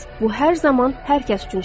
Bu hər zaman hər kəs üçün işləyir.